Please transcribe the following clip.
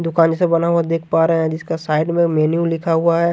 दुकान जैसा बना हुआ देख पा रहे हैं जिसका साइड में मेन्यू लिखा हुआ है।